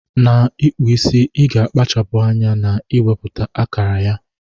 Na ikpụ isi iga akpachapu anya na iweputa akara ya.